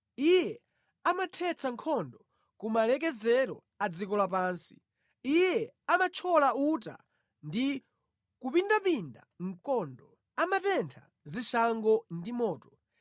Iye amathetsa nkhondo ku malekezero a dziko lapansi; Iye amathyola uta ndi kupindapinda mkondo; amatentha zishango ndi moto.